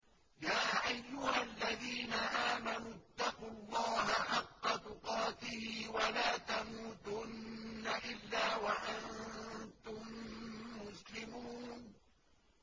يَا أَيُّهَا الَّذِينَ آمَنُوا اتَّقُوا اللَّهَ حَقَّ تُقَاتِهِ وَلَا تَمُوتُنَّ إِلَّا وَأَنتُم مُّسْلِمُونَ